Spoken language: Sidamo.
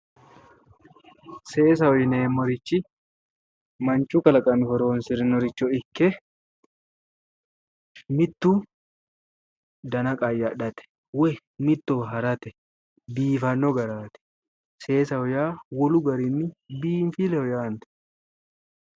Seesaho yineemmorichi manchu kalaqami horonsirannoricho ikke mitu dana qayyadhate woyi mittowa harate biifanno garinni woy seesaho yaa wolu garinni biinfilleho yaate.